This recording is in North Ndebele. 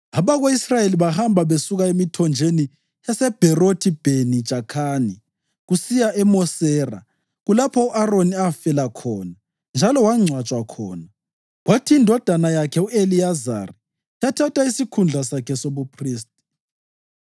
(Abako-Israyeli bahamba besuka emithonjeni yaseBherothi-Bheni-Jakhani kusiya eMosera. Kulapho u-Aroni afela khona njalo wangcwatshwa khona, kwathi indodana yakhe u-Eliyazari yathatha isikhundla sakhe sobuphristi.